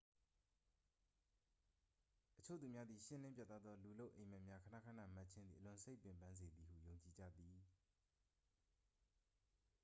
အချို့သူများသည် ရှင်းလင်းပြတ်သားသော လူလုပ် အိပ်မက်များ ခဏခဏမက်ခြင်းသည် အလွန်စိတ်ပင်ပန်းစေသည်ဟု ယုံကြည်ကြသည်